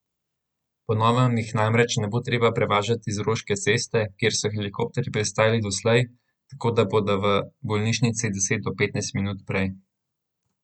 Po novem jih namreč ne bo treba prevažati z Roške ceste, kjer so helikopterji pristajali doslej, tako da bodo v bolnišnici deset do petnajst minut prej.